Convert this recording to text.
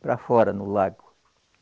Para fora, no lago.